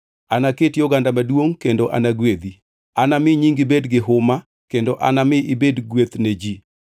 “Anaketi oganda maduongʼ kendo anagwedhi; anami nyingi bed gi huma, kendo anami ibed gweth ne ji.